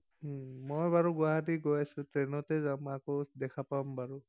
মই বাৰু গুৱাহাটী গৈ আছো। ট্ৰেইনতে যাম আকৌ দেখা পাম বাৰু।